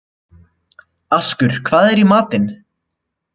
Askur, hvað er í matinn?